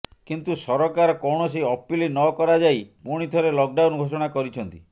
କିନ୍ତୁ ସରକାର କୌଣସି ଅପିଲ୍ ନକରାଯାଇ ପୁଣି ଥରେ ଲକ୍ଡାଉନ୍ ଘୋଷଣା କରିଛନ୍ତି